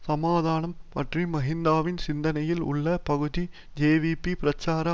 சமாதானம் பற்றி மஹிந்தவின் சிந்தனையில் உள்ள பகுதி ஜேவிபி பிரச்சார